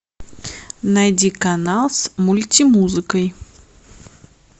найди канал с мультимузыкой